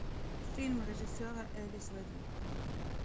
фильм режиссера элис вэддингтон